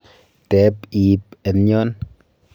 teeb iib en yon